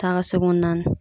Taa ka segin naani.